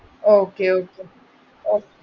Okay Okay